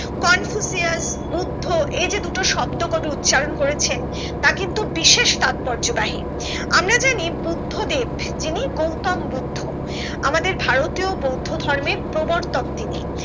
Confucius Buddha এই যে দুটো শব্দ কবি উচ্চারণ করেছেন তা কিন্তু বিশেষ তাৎপর্য বাহি আমরা জানি বুদ্ধ দেব যিনি গৌতম বুদ্ধ আমাদের ভারতীয় বৌদ্ধ ধর্মের প্রবর্তক তিনি।